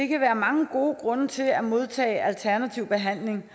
kan være mange gode grunde til at modtage alternativ behandling